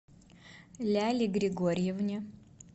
ляле григорьевне